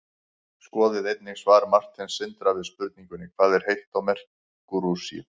skoðið einnig svar marteins sindra við spurningunni hvað er heitt á merkúríusi